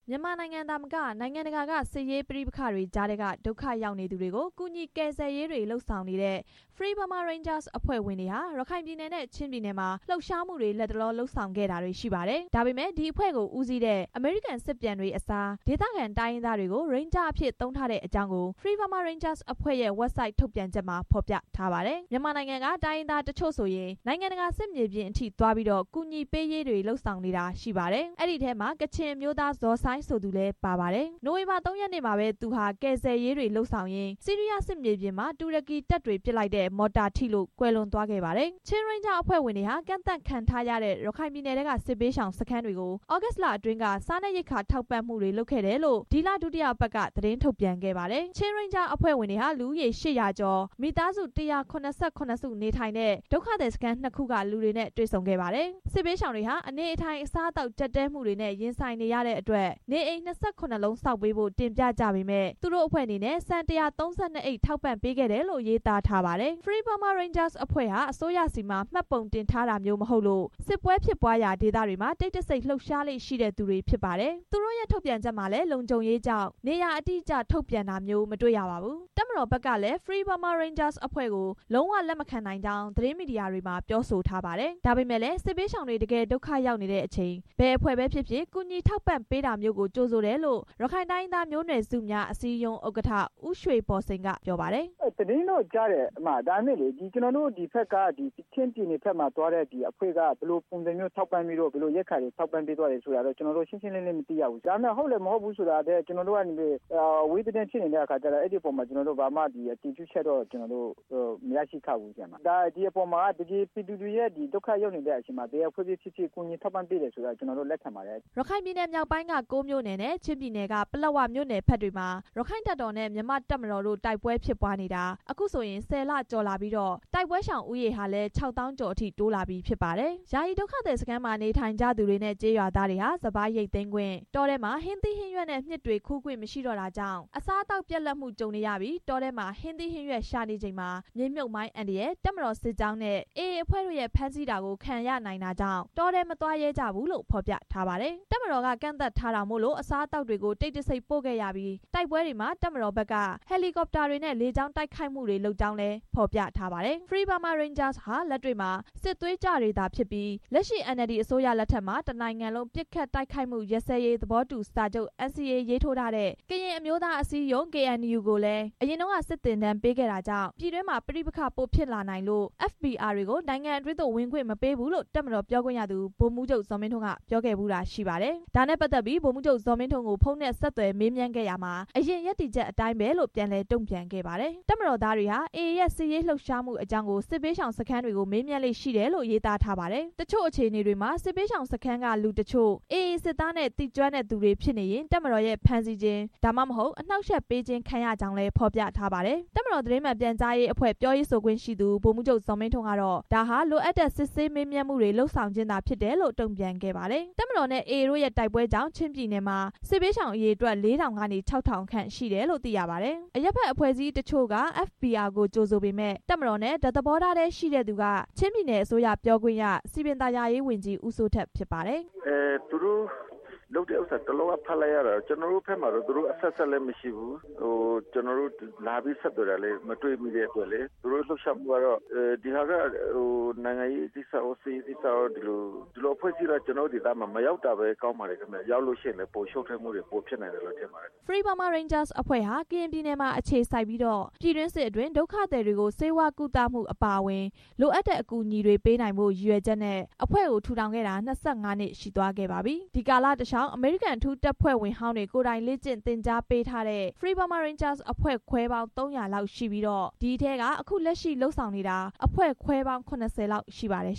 မြန်မာနိုင်ငံသာမက နိုင်ငံတကာက စစ်ရေးပဋိပက္ခတွေကြားထဲက ဒုက္ခရောက်နေသူတွေကို ကူညီကယ် ဆယ်ရေးတွေ လုပ်ဆောင်နေတဲ့ Free Burma Rangers အဖွဲ့ဝင်တွေဟာ ရခိုင်ပြည်နယ်နဲ့ ချင်းပြည်နယ်မှာ လှုပ်ရှားမှုတွေ လတ်တလော လှုပ်ဆောင်ခဲ့တာတွေရှိပါတယ်။ ဒါပေမဲ့ အဖွဲ့ကိုဦးစီးတဲ့ အမေရိကန်စစ်ပြန်တွေအစား၊ ဒေသခံ တိုင်းရင်းသားတွေကို ရိန်းဂျားအဖြစ် သုံးထားတဲ့ အကြောင်းကို Free Burma Ranger အဖွဲ့ရဲ့ဝက်ဘ်ဆိုက် ထုတ်ပြန်ချက်မှာ ဖော်ပြထားပါတယ်။ မြန်မာနိုင်ငံက တိုင်းရင်းသားတချို့ဆိုရင် နိုင်ငံတကာ စစ်မြေပြင်ထိသွားပြီးတော့ ကူညီပေးရေးတွေ လုပ်နေကြ တာရှိပါတယ်။ အဲဒီထဲမှာ ကချင်အမျိုးသား ဇော်ဆိုင်းဆိုသူလည်း ပါပါတယ်။ နိုဝင်ဘာ ၂ ရက်နေ့မှာပဲ သူဟာ ကယ်ဆယ်ရေးတွေလုပ်ရင်း ဆီးရီးယားစစ်မြေပြင်မှာ တူရကီတပ်တွေ ပစ်လိုက်တဲ့မော်တာထိလို့ ကွန်လွယ်သွားခဲ့ပါတယ်။ ချင်းရိန်းဂျားအဖွဲ့ဝင်တွေဟာ ကန့်သတ်ခံထားရတဲ့ ရခိုင်ပြည်နယ်ထဲက စစ်ဘေးရှာင်စခန်းတွေကို သြဂုတ်လ အတွင်းက စားနပ်ရိက္ခာ ထောက်ပံ့မှုတွေလုပ်ခဲ့တယ်လို့ ဒီလ ဒုတိယအပတ်က သတင်းထုတ်ပြန်ခဲ့ပါတယ်။ ချင်းရိန်းဂျားအဖွဲ့ဝင်တွေဟာ လူဦးရေ ၈၀၀ ကျော်၊ မိသားစု ၁၇၇ စု နေထိုင်တဲ့ ဒုက္ခသည်စခန်း ၂ ခုက လူတွေနဲ့ တွေ့ဆုံခဲ့ပါတယ်။ စစ်ဘေးရှောင်တွေဟာ အနေအထိုင်အစားအသောက် ကြပ်တည်းမှုတွေနဲ့ ရင်ဆိုင်နေရတဲ့ အတွက် နေအိမ် ၂၇ လုံးဆောက်ပေးဖို့ တင်ပြကြပေမယ့် သူတို့အဖွဲ့အနေနဲ့ ဆန် ၁၃၂ အိတ် ထောက်ပံ့ပေးခဲ့ တယ်လို့ ရေးသားထားပါတယ်။ FBR အဖွဲ့ဟာ အစိုးရဆီမှာ မှတ်ပုံတင်ထားမျိုး မဟုတ်လို့၊ စစ်ပွဲဖြစ်ပွားရာဒေသတွေမှာ တိတ်တဆိတ် လှုပ်ရှားလေ့ရှိတဲ့သူတွေဖြစ်ပါတယ်။ သူတို့ရဲ့ထုတ်ပြန်ချက်မှာလည်း လုံခြုံရေးကြောင့် နေရာအတိအကျ ထုတ်ပြန်တာမျိုး မတွေ့ရပါဘူး။ တပ်မတော်ဖက်ကလည်း FBR အဖွဲ့ကို လုံးဝလက်မခံကြောင်း သတင်းမီဒီယာမှာ ပြောဆိုထားပါတယ်။ ဒါပေမဲ့လည်း စစ်ဘေးရှောင်တွေ တကယ်ဒုက္ခရောက်နေတဲ့အချိန် ဘယ်အဖွဲ့ပဲဖြစ်ဖြစ် ကူညီထောက်ပံ့ပေး တာမျိုးကို ကြိုဆိုတယ်လို့ ရခိုင်တိုင်းရင်းသားမျိုးနွယ်စုများ အစည်းအရုံး ဥက္ကဋ္ဌ ဦးရွှေဘော်စိန်က ပြောပါတယ်။ “သတင်းတော့ကြားတယ်။ ဒါပေမဲ့ ချင်းပြည်နယ်ဘက်မှာသွားတဲ့အဖွဲ့က သူတို့ဘယ်လိုပုံစံမျိုး ရိက္ခာတွေ ထောက်ပံ့ပြီးတော့ ဘယ်လိုကူညီပေးသွားတယ်ဆိုတာ ရှင်းရှင်းလင်းလင်း မသိရဘူး။ အဝေးသတင်း ဖြစ်နေတဲ့အတွက် အဲဒီအပေါ်မှာ အတည်ပြုချက်တော့ မရရှိထားဘူး။ ပြည်သူတွေရဲ့ ဒုက္ခရောက်နေတဲ့ အချိန်မှာ ဘယ်အဖွဲ့ပဲဖြစ်ဖြစ် ကူညီထောက်ပံ့ပေးတာကို လက်ခံပါတယ်” ရခိုင်ပြည်နယ်မြောက်ပိုင်းက ၉ မြို့နယ်နဲ့ ချင်းပြည်နယ်က ပလက်ဝမြို့နယ်ဘက်တွေမှာ ရက္ခိုင့်တပ်တော်နဲ့ မြန်မာ့တပ်မတော်တို့ တိုက်ပွဲဖြစ်ပွားနေတာ အခုဆိုရင် ၁၀ လကျော်လာပြီးတော့ တိုက်ပွဲရှောင်ဦးရေဟာလည်း ၆ သောင်းကျော်ထိ တိုးလာပြီဖြစ်ပါတယ်။ ယာယီဒုက္ခသည်စခန်းမှာ နေထိုင်ကြသူတွေနဲ့ ကျေးရွာသားတွေဟာ စပါးရိတ်သိမ်းခွင့်၊ တောထဲမှာ ဟင်းသီး ဟင်းရွက်နဲ့ မျှစ်တွေ ခူးခွင့်မရှိတော့တာကြောင့် အစားအသောက် ပြတ်လတ်မှုကြုံနေရပြီး တောထဲမှာ ဟင်းသီးဟင်းရွက်ရှာနေချိန်မှာ မြေမြှုပ်မိုင်း အန္တရာယ်၊ တပ်မတော် စစ်ကြောင်းနဲ့ AA အဖွဲ့တို့ရဲ့ ဖမ်းဆီးတာကို ခံရနိုင်တာကြောင့် တောထဲမသွားရဲကြဘူးလို့ ဖော်ပြထားပါတယ်။ တပ်မတော်က ကန့်သတ်ထားတာမို့လို့ အစားအသောက်တွေကို တိတ်တဆိတ်ပို့ခဲ့ရပြီး တိုက်ပွဲတွေမှာ တပ်မတော်ဘက်က ဟယ်လီကော်ပတာတွေနဲ့ လေကြောင်းတိုက်ခိုက်မှုတွေ လုပ်ကြောင်းလည်း ဖော်ပြထားပါတယ်။ FBR ဟာ လက်တွေ့မှာ စစ်သွေးကြွတွေသာဖြစ်ပြီး လက်ရှိ NLD အစိုးရလက်ထက်မှာ တစ်နိုင်ငံလုံး ပစ်ခတ် တိုက်ခိုက်မှုရပ်စဲရေး သဘောတူစာချုပ် (NCA) ရေးထိုးထားတဲ့၊ ကရင်အမျိုးသားအစည်းအရုံး KNU ကိုလည်း အရင်တုန်းက စစ်သင်တန်းပေးခဲ့တာကြောင့် ပြည်တွင်းမှာ ပဋိပက္ခပိုဖြစ်လာနိုင်လို့ FBR တွေကို နိုင်ငံတွင်းသို့ ဝင်ခွင့်မပေးဘူးလို့ တပ်မတော်ပြောခွင့်ရသူ ဗိုလ်မှူးချုပ် ဇော်မင်းထွန်း က ပြောခဲ့ဖူးတာ ရှိပါတယ်။ ဒါနဲ့ပတ်သက်ပြီး ဗိုလ်မှူးချုပ် ဇော်မင်းထွန်းကို ဖုန်းနဲ့ဆက်သွယ်မေးမြန်းခဲ့ရာမှာ အရင်ရပ်တည်ချက် အတိုင်းပါပဲလို့ ပြန်လည်တုံ့ပြန်ခဲ့ပါတယ်။ တပ်မတော်သားတွေဟာ AA ရဲ့ စစ်ရေးလှုပ်ရှားမှုအကြောင်းကို စစ်ဘေးရှောင်စခန်းတွေ မေးမြန်းလေ့ရှိတယ်လို့ ရေးသားထားပါတယ်။ တချို့အခြေအနေတွေမှာ စစ်ဘေးရှောင်စခန်းက လူတချို့ AA စစ်သားနဲ့ သိကျွမ်းတဲ့ သူတွေဖြစ်နေရင် တပ်မတော်ရဲ့ ဖမ်းဆီးခြင်း သို့မဟုတ် အနှောင့်အယှက်ပေးခြင်း ခံရကြောင်းလည်း ဖော်ပြထားပါတယ်။ တပ်မတော် သတင်းမှန်ပြန်ကြားရေးအဖွဲ့ ပြောရေးဆိုခွင့်ရှိသူ ဗိုလ်မှူးချုပ် ဇော်မင်းထွန်းကတော့ ဒါဟာလိုအပ်တဲ့ စစ်ဆေးမေးမြန်းမှုတွေ လုပ်ဆောင်ခြင်းသာ ဖြစ်တယ်လို့ တုံ့ပြန်ခဲ့ပါတယ်။ တပ်မတော်နဲ့ AA တို့ရဲ့ တိုက်ပွဲတွေကြောင့် ချင်းပြည်နယ်မှာ စစ်ဘေးရှောင် အရေအတွက် လေးထောင်ကနေ ခြောက်ထောင်ခန့်ရှိတယ်လို့ သိရပါတယ်။ အရပ်ဖက်အဖွဲ့အစည်းတချို့က FBR ကို ကြိုဆိုပေမယ့်၊ တပ်မတော်နဲ့ တစ်သဘောထားရှိတဲ့သူက ချင်းပြည်နယ် အစိုးရ ပြောခွင့်ရ စည်ပင်သာယာဝန်ကြီး ဦးစိုးထက် ဖြစ်ပါတယ်။ “ဒီဟာက နိုင်ငံရေးကိစ္စရော၊ စစ်ရေးကိစ္စရော ဒီလိုအဖွဲ့အစည်းက ကျွန်တေ်ာတို့ဒေသမှာ မရောက်တာပဲ ကောင်းပါတယ်။ ရောက်လို့ရှိရင် ရှုပ်ထွေးမှုတွေ ပိုဖြစ်နိုင်တယ်လို့ ထင်တယ်“ Free Burma Rangers အဖွဲ့ဟာ ကရင်ပြည်နယ်မှာ အခြေစိုက်ပြီးတော့ ပြည်တွင်းစစ်အတွင်း ဒုက္ခသည်တွေကို ဆေးဝါးကုသမှု အပါအဝင် လိုအပ်တဲ့အကူအညီတွေကို ပေးနိုင်ဖို့ ရည်ရွယ်ချက်နဲ့ အဖွဲ့ကို ထူထောင်ခဲ့တာ ၂၅ နှစ်ရှိသွားခဲ့ပါပြီ။ ဒီကာလတစ်လျှောက် အမေရိကန် အထူးတပ်ဖွဲ့ဝင်ဟောင်းတွေကိုယ်တိုင် လေ့ကျင့်သင် ကြားပေးထားတဲ့ Free Burma Rangers အဖွဲ့ခွဲပေါင်း ၃၀၀ လောက်ရှိပြီးတော့ ဒီအထဲက အခုလက်ရှိ လုပ်ဆောင်နေတာ အဖွဲ့ခွဲပေါင်း ၇၀ လောက် ရှိပါတယ်